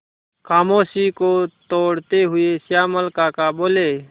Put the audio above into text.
खामोशी को तोड़ते हुए श्यामल काका बोले